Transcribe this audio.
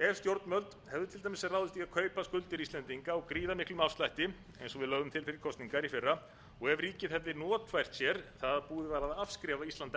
ef stjórnvöld hefðu til dæmis ráðist í að kaupa skuldir íslendingar á gríðarmiklum afslætti eins og við lögðum til fyrir kosningar í fyrra og ef ríkið hefði notfært sér að búið var að afskrifa ísland